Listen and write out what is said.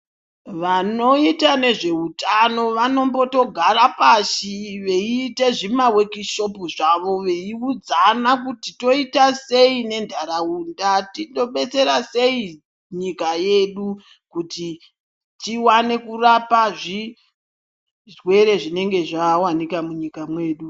Vanoita nezveutano vanombotogara pashi veite zvima weki shopu zvavo veiudzana kuti toita sei nendaraunda tinobetsera sei nyika yedu kuti tiwane kurapa zvirwere zvinenge zvawanika munyika mwedu.